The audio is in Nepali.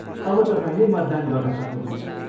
अब तपाईँले मतदान गर्न सक्नुहुन्छ।